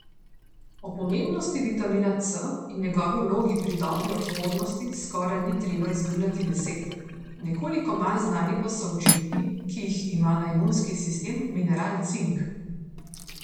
O pomembnosti vitamina C in njegovi vlogi pri dobri odpornosti skoraj ni treba izgubljati besed, nekoliko manj znani pa so učinki, ki jih ima na imunski sistem mineral cink.